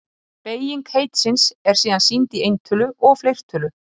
Beyging heitisins er síðan sýnd í eintölu og fleirtölu.